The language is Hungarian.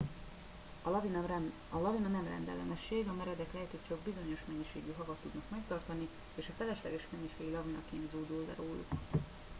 a lavina nem rendellenesség a meredek lejtők csak bizonyos mennyiségű havat tudnak megtartani és a felesleges mennyiség lavinaként zúdul le róluk